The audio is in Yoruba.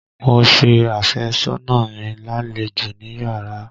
Mo ṣe àfẹ́sọ́nà mi lálejò níyárà.